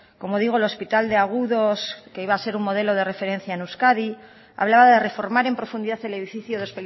como digo el hospital de agudos que iba a ser un modelo de referencia en euskadi hablaba de reformar en profundidad el edificio de